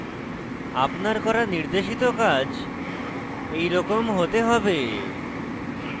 আপনার করা নির্দেশিত কাজ এইরকম হতে হবে